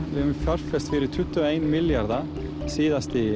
við höfum fjárfest fyrir tuttugu og einn milljarða síðustu